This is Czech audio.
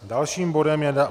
Dalším bodem je